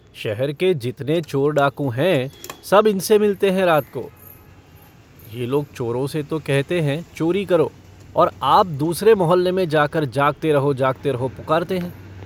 शहर के जितने चोर डाकू हैं सब इनसे मिलते हैं रात को ये लोग चोरों से तो कहते हैं चोरी करो और आप दूसरे मुहल्ले में जाकर जागते रहो जागते रहो पुकारते हैं।